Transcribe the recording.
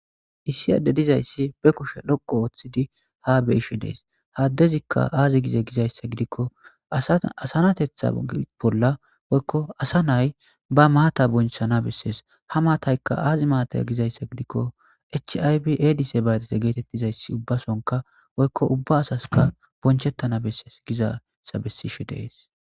issi adde dizayssi be kushe dhoko ooththidi ha be ishe dees haaddezikka aazi gize gizayssa gidikko aaasanatethabolla woykko asa nay ba maata bonchana bessees ha maataykka aazi maataya gizayssa gidikko chaybi edise baadese geetettizayssi ubbasonka woykko ubba asaska bonchettana besses gizassa bessishe dees